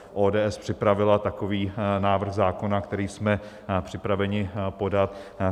ODS připravila takový návrh zákona, který jsme připraveni podat.